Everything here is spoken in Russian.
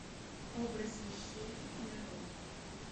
образ вещей нарой